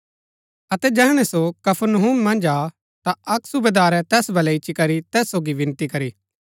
अतै जैहणै सो कफरनहूम मन्ज आ ता अक्क सूबेदारै तैस बलै इच्ची करी तैस सोगी विनती करी